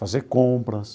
Fazer compras.